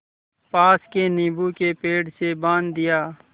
पास के नीबू के पेड़ से बाँध दिया